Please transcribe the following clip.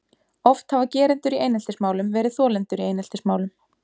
Oft hafa gerendur í eineltismálum verið þolendur í eineltismálum.